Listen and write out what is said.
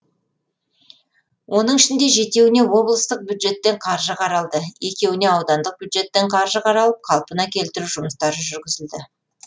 оның ішінде жетеуіне облыстық бюджеттен қаржы қаралды екеуіне аудандық бюджеттен қаржы қаралып қалпына келтіру жұмыстары жүргізілді